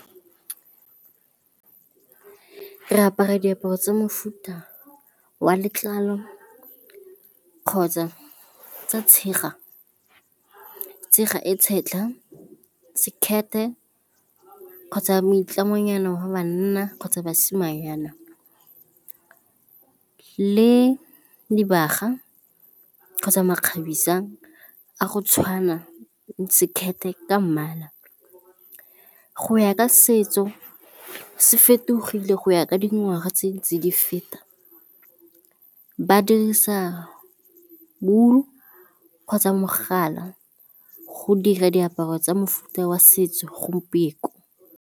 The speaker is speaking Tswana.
Re apara diaparo tsa mofuta wa letlalo kgotsa tsa tshega e setlha, skirt-e kgotsa moitlamonyana wa banna kgotsa basimanyana le dibaga kgotsa makgabisang a go tshwana le skirt-e ka mmala. Go ya ka setso se fetogile go ya ka dingwaga tse di feta. Ba dirisa wool kgotsa mogala go dira diaparo tsa mofuta wa setso gompieno.